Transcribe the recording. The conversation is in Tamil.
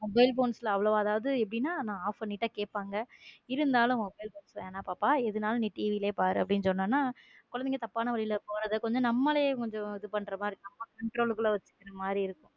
mobile phones ல அவ்வளவா எப்படின்னா off பண்ணிட்டா கேட்பாங்க இருந்தாலும mobile phone வேணா பாப்பா எதா இருந்தாலும் நீ TV யிலேயே பார் என்று சொன்னேனா குழந்தைங்க தப்பான வழியில் போறத கொஞ்சம் நம்மலே கொஞ்சம் இது பண்ற மாதிரி இருக்கும் நம்ம control குள்ள வச்சிக்கிற மாதிரி இருக்கும்.